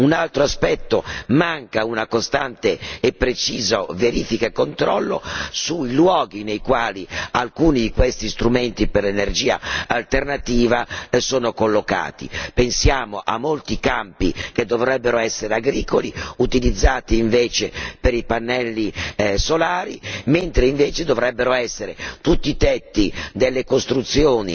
Un altro aspetto riguarda il fatto che manca una costante e precisa verifica e un controllo sui luoghi nei quali alcuni di questi strumenti per l'energia alternativa sono collocati. Pensiamo a molti campi che dovrebbero essere agricoli e che invece sono utilizzati per i pannelli solari, mentre invece dovrebbero essere tutti i tetti delle costruzioni,